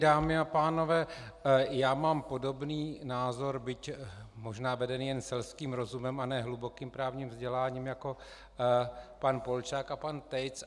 Dámy a pánové, já mám podobný názor, byť možná vedený jen selským rozumem a ne hlubokým právním vzděláním jako pan Polčák a pan Tejc.